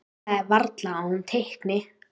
Það er varla að hún teikni.